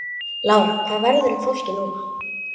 Lára: Hvað verður um fólkið núna?